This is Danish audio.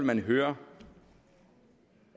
kan høre